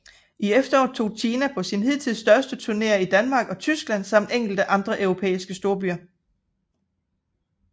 I efteråret tog Tina på sine hidtil største turneer i Danmark og Tyskland samt enkelte andre europæiske storbyer